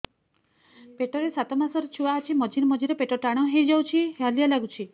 ପେଟ ରେ ସାତମାସର ଛୁଆ ଅଛି ମଝିରେ ମଝିରେ ପେଟ ଟାଣ ହେଇଯାଉଚି ହାଲିଆ ଲାଗୁଚି